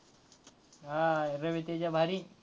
हा रवी तेजा भारी आहे.